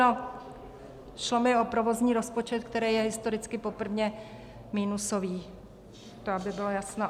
No, šlo mi o provozní rozpočet, který je historicky poprvé minusový, to aby bylo jasno.